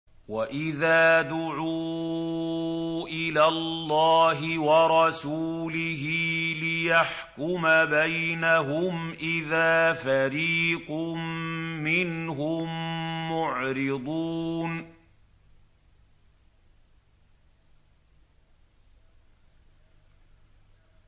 وَإِذَا دُعُوا إِلَى اللَّهِ وَرَسُولِهِ لِيَحْكُمَ بَيْنَهُمْ إِذَا فَرِيقٌ مِّنْهُم مُّعْرِضُونَ